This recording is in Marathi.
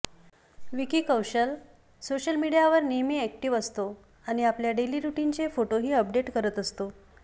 विक्की कौशल सोशल मीडियावर नेहमी अॅक्टिव्ह असतो आणि आपल्या डेली रुटिनचे फोटोही अपडेट करत असतो